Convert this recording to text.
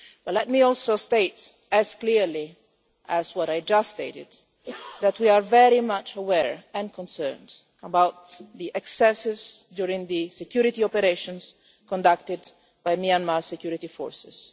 Let me also state, just as clearly as what I said just now, that we are very much aware of and concerned about the excesses during the security operations conducted by Myanmar security forces.